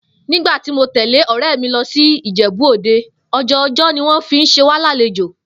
Nígbà tí mo tè̩lé ò̩ré̩ mi lo̩ sí Ìjè̩bú-Òde, ò̩jò̩jò̩ ni wó̩n fi s̩e wá lálejò